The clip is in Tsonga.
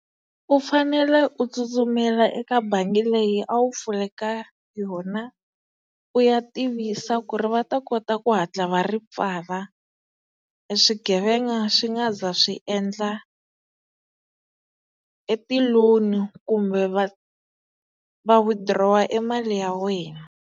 U fanele u tsutsumela eka bangi leyi a wu pfule ka yona u ya tivisa ku ri va ta kota ku hatla va ri pfala swigevenga swi nga za swi endla e ti-loan-i kumbe va va withdraw-a e mali ya wena.